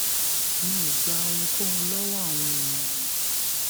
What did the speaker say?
mi í gba ohunkóhun lọwọ àwọn èèyàn mi